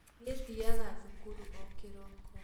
Nĩĩ thiaga thukuru o kĩroko